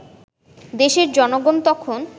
দেশের জনগণ তখন